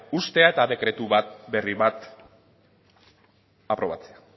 uztea eta dekretu berri bat aprobatzea